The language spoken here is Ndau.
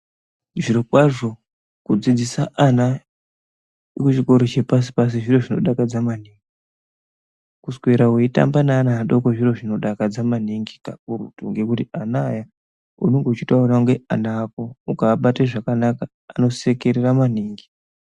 Zvirokwazvo kudzidzisa ana muchikoro chepashi pashi zviro zvinodakadza maningi, kuswera neana adoko zviro zvinodakadza maningi kakurutu ngekuti ana aya unenge uchitoaona kunge ana ako ukaabate zvakanaka anosekerera maningi.